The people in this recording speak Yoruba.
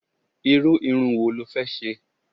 Irú irun wo lo fẹ́ ṣe?